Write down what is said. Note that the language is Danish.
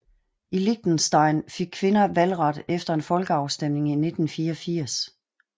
I Liechtenstein fik kvinder valgret efter en folkeafstemning i i 1984